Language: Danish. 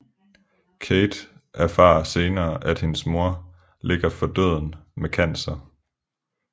Kate erfarer senere at hendes mor ligger for døden med cancer